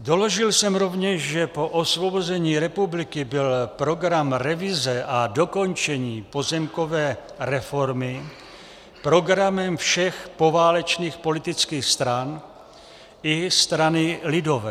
Doložil jsem rovněž, že po osvobození republiky byl program revize a dokončení pozemkové reformy programem všech poválečných politických stran i strany lidové.